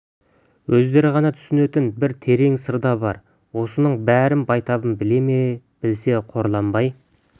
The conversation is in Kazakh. өздері ғана түсінетін бір терең сыр да бар осының бәрін байтабын біле ме білсе қорланбай